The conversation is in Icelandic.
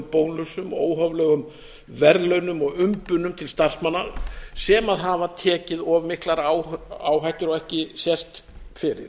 bónusum og óhóflegum verðlaunum og umbunum til starfsmanna sem hafa tekið of miklar áhættur og ekki sést fyrir